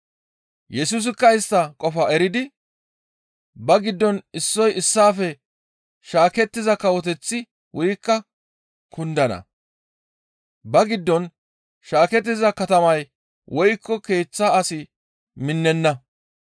Yesusikka istta qofaa eridi, «Ba giddon issoy issaafe shaakettiza kawoteththi wurikka kundana; ba giddon shaakettiza katamay woykko keeththa asi minnenna.